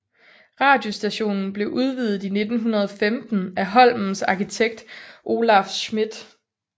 Radiostationen blev udvidet i 1915 af Holmens arkitekt Olaf Schmidth